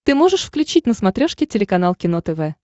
ты можешь включить на смотрешке телеканал кино тв